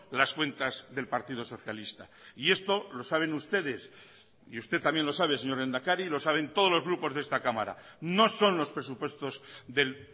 las cuentas del partido socialista y esto lo saben ustedes y usted también lo sabe señor lehendakari y lo saben todos los grupos de esta cámara no son los presupuestos del